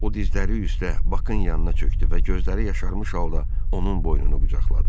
O dizləri üstə Bakın yanına çökdü və gözləri yaşarmış halda onun boynunu qucaqladı.